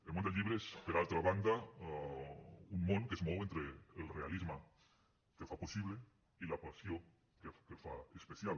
el món del llibre és per altra banda un món que es mou entre el realisme que el fa possible i la passió que el fa especial